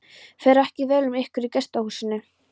Fer ekki vel um ykkur í gestahúsinu?